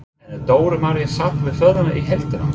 En er Dóra María sátt við ferðina í heildina?